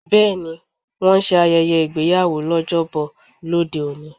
Bẹẹni, wón ń ṣe ayẹyẹ ìgbéyàwó l'ojobo lóde-òní.